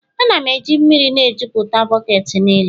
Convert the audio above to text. Ana m eji mmiri na-ejuputa bọket niile.